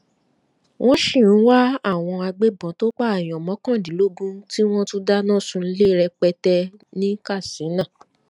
wọn sì ń wá àwọn agbébọn tó pààyàn mọkàndínlógún tí wọn tún dáná sunlẹ rẹpẹtẹ ní katsina